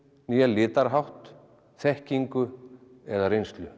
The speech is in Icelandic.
né litarhátt þekkingu eða reynslu